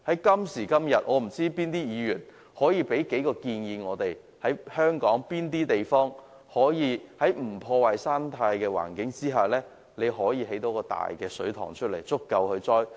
今時今日，我便不知道議員可以提出甚麼建議，就是香港有甚麼地方，是可以在不破壞生態環境下，興建到一個大水塘足以盛載食水。